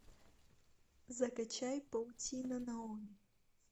закачай паутина наоми